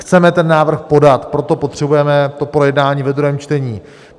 Chceme ten návrh podat, proto potřebujeme to projednání ve druhém čtení.